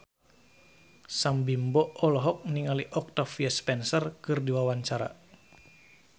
Sam Bimbo olohok ningali Octavia Spencer keur diwawancara